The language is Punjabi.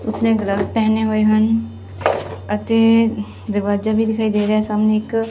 ਉਸਨੇ ਗਲਵਸ ਪਹਿਨੇ ਹੋਏ ਹਨ ਅਤੇ ਦਰਵਾਜਾ ਵੀ ਦਿਖਾਈ ਦੇ ਰਹੇ ਸਾਹਮਣੇ ਇੱਕ।